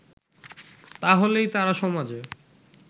তাহলেই তারা সমাজে